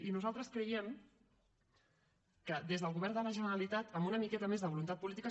i nosaltres creiem que des del govern de la generalitat amb una miqueta més de voluntat política